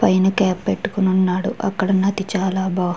పైన కాప్ పెట్టుకుని ఉన్నాడు అక్కడ ఉన్నది చాలా బా --